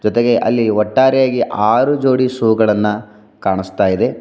ಜೊತೆಗೆ ಅಲ್ಲಿ ಒಟ್ಟಾರೆಯಾಗಿ ಆರು ಜೋಡಿ ಶೂ ಗಳನ್ನ ಕಾಣಿಸ್ತಾ ಇದೆ.